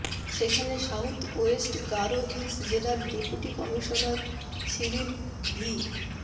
সেখানে South West Garo Hills জেলার deputy commissioner Cyril V